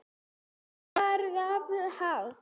Þá var glatt á hjalla.